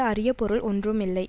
அறிய பொருள் ஒன்றும் இல்லை